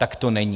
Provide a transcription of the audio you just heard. Tak to není.